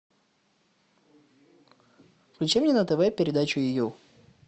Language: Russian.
включи мне на тв передачу ю